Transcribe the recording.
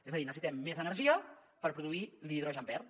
és a dir necessitem més energia per produir l’hidrogen verd